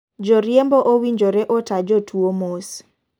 Jo riembo owinjore ota jotuo mos.